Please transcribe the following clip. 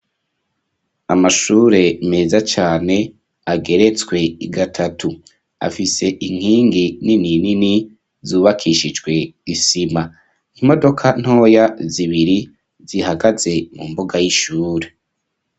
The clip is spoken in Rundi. Amashure meza cane ageretswe gatatu afise inkingi nini nini zubakishijwe isima imodoka ntoya zibiri zihagaze mu mbuga y'ishure.